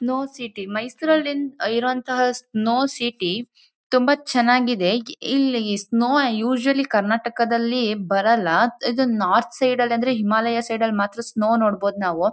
Snow city ಮೈಸೂರಲ್ಲಿರುವಂತಹ snow city ತುಂಬಾ ಚೆನ್ನಾಗಿದೆ ಇಲ್ಲಿ ಸ್ನೋ ಯೂಸೂಯಲಿ ಕರ್ನಾಟಕದಲ್ಲಿ ಬರಲ್ಲ ಇದು ನಾರ್ತ್ ಸೈಡ್ ಅಂದ್ರೆ ಹಿಮಾಲಯ ಸೈಡ್ ಳ್ಳಿ ಮಾತ್ರ ಸ್ನೋ ನೋಡಬಹುದು ನಾವು.